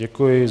Děkuji.